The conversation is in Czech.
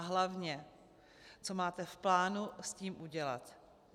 A hlavně, co máte v plánu s tím udělat?